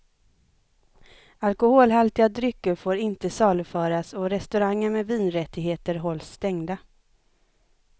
Alkoholhaltiga drycker får inte saluföras och restauranger med vinrättigheter hålls stängda.